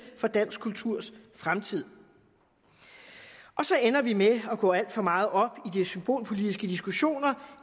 for dansk kulturs fremtid så ender vi med at gå alt for meget op i de symbolpolitiske diskussioner